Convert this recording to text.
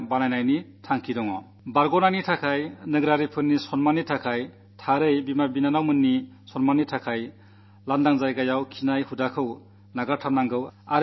ആരോഗ്യത്തിന് പൌരന്മാരുടെ മാനംകാക്കാൻ വിശേഷിച്ചും അമ്മമാരുടെയും സഹോദരിമാരുടെയും മാനംകാക്കാൻ തുറസ്സായ സ്ഥലത്ത് ശൌചം നിർവ്വഹിക്കുന്ന ശീരം അവസാനിക്കണം